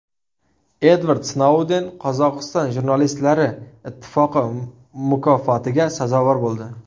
Edvard Snouden Qozog‘iston jurnalistlari ittifoqi mukofotiga sazovor bo‘ldi.